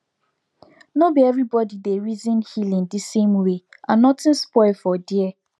nor be everybody dey reason healing the same way and nothing spoil for there